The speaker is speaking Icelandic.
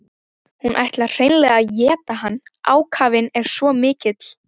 Hún ætlar hreinlega að éta hann, ákafinn er svo mikill.